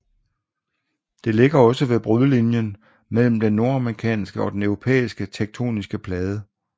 Det ligger også ved brudlinjen mellem den nordamerikanske og den europæiske tektoniske plade